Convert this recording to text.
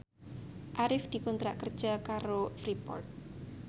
Arif dikontrak kerja karo Freeport